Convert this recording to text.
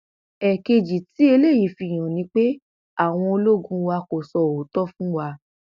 ẹẹkejì tí eléyìí fi hàn ni pé àwọn ológun wa kò sọ òótọ fún wa